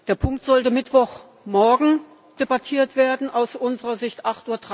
Der Punkt sollte Mittwochmorgen debattiert werden aus unserer Sicht um